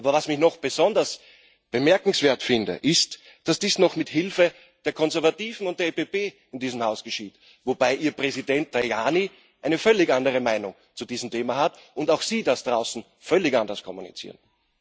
Aber was ich noch besonders bemerkenswert finde, ist, dass dies noch mit Hilfe der Konservativen und der EVP in diesem Haus geschieht, wobei ihr Präsident Tajani eine völlig andere Meinung zu diesem Thema hat und auch sie das draußen völlig anders kommunizieren.